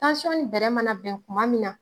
Tansɔn nin bɛrɛ mana bɛn kuma min na